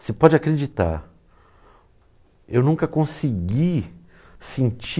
Você pode acreditar, eu nunca consegui sentir...